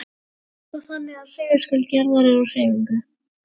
Nú er það þannig að segulskaut jarðar er á hreyfingu.